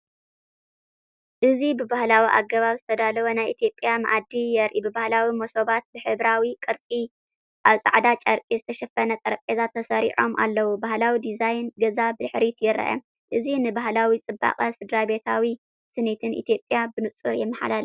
እዚ ብባህላዊ ኣገባብ ዝተዳለወ ናይ ኢትዮጵያ መኣዲ የርኢ። ብባህላዊ መሶባት ብሕብራዊ ቅርጺ ኣብ ጻዕዳ ጨርቂ ዝተሸፈነ ጠረጴዛ ተሰሪዖም ኣለዉ፤ ባህላዊ ዲዛይን ገዛ ብድሕሪት ይርአ። እዚ ንባህላዊ ጽባቐን ስድራቤታዊ ስኒትን ኢትዮጵያ ብንጹር የመሓላልፍ።